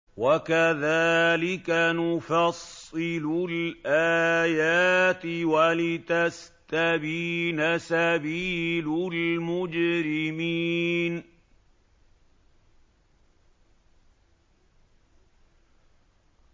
وَكَذَٰلِكَ نُفَصِّلُ الْآيَاتِ وَلِتَسْتَبِينَ سَبِيلُ الْمُجْرِمِينَ